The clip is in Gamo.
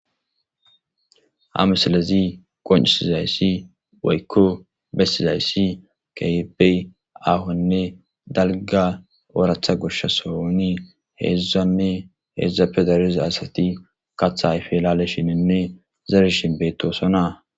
Ha misalezi qoncisizayssi woykko bessizayssi kaybey ahonne dalga oratha goshsha sohoni heedzdzanne heedzdzape dareza asati katha ife elale shinenne zarishin beetosonaa.